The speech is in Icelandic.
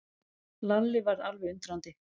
Lalli varð alveg undrandi.